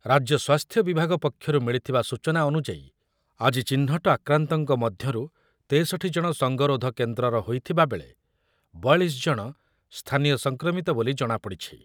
ରାଜ୍ୟ ସ୍ୱାସ୍ଥ୍ୟ ବିଭାଗ ପକ୍ଷରୁ ମିଳିଥିବା ସୂଚନା ଅନୁଯାୟୀ, ଆଜି ଚିହ୍ନଟ ଆକ୍ରାନ୍ତଙ୍କ ମଧ୍ୟରୁ ତେଷଠି ଜଣ ସଙ୍ଗରୋଧ କେନ୍ଦ୍ରର ହୋଇଥିବାବେଳେ ବୟାଳିଶ ଜଣ ସ୍ଥାନୀୟ ସଂକ୍ରମିତ ବୋଲି ଜଣାପଡି଼ଛି।